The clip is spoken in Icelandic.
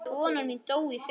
Konan mín dó í fyrra.